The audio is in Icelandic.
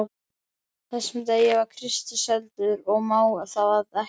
þessum degi var Kristur seldur og má það því ekki.